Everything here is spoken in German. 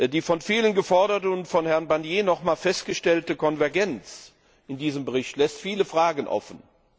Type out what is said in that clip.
Die von vielen geforderte und von Herrn Barnier nochmals festgestellte Konvergenz in diesem Bericht lässt viele Fragen offen.